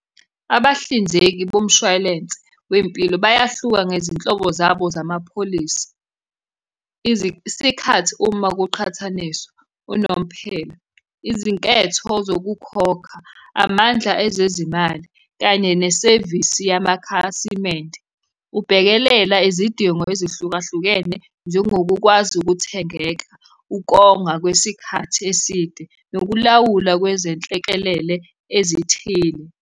Abahlinzeki bomshwalense wempilo bayahluka ngezinhlobo zabo zamapholisi, isikhathi uma kuqhathaniswa unomphela, izinketho zokukhokha, amandla ezezimali, kanye nesevisi yamakhasimende. Ubhekelela izidingo ezihlukahlukene njengokukwazi ukuthengeka, ukonga kwesikhathi eside, nokulawula kwezenhlekelele ezithile.